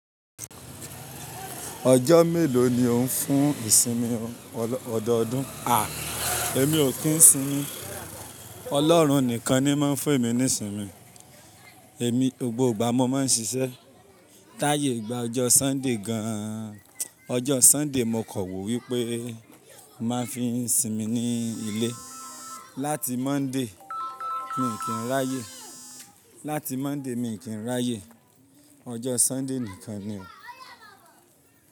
Ọjọ́ mélòó ni ò ń fún ìsinmi ọdọọdún? A! Èmi ò kí ń sinmi, Ọlọ́run nìkan ni máa ń fún èmi ní ìsinmi. Èmi gbogbo ìgbà mo máa ń ṣiṣẹ́. Táyè gba ọjọ́ Sunday gan an. Ọjọ́ Sunday mo kọ̀wé wípé màá fi ń sinmi ní ilé. Láti Monday mi ò kí ń ráyè. Láti Monday mi ò kí ń ráyè. Ọjọ́ Sunday nìkan ni.